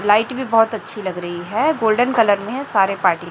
light भी बहोत अच्छी लग रही है गोल्डन कलर में है सारे पार्टी --